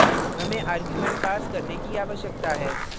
अतः हमे arguments pass करने की आवश्यकता है